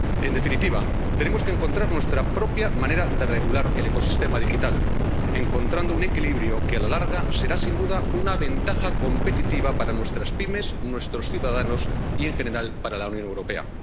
En definitiva, tenemos que encontrar nuestra propia manera de regular el ecosistema digital, encontrando un equilibrio que, a la larga, será sin duda una ventaja competitiva para nuestras pymes, nuestros ciudadanos y en general para la Unión Europea.